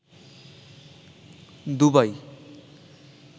Dubai